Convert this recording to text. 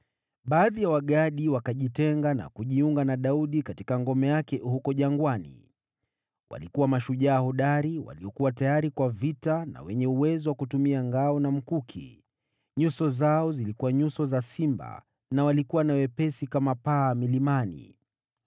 Baadhi ya Wagadi wakajitenga na kujiunga na Daudi katika ngome yake huko jangwani. Walikuwa mashujaa hodari, waliokuwa tayari kwa vita na wenye uwezo wa kutumia ngao na mkuki. Nyuso zao zilikuwa nyuso za simba na walikuwa na wepesi kama paa milimani.